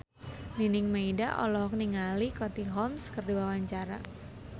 Nining Meida olohok ningali Katie Holmes keur diwawancara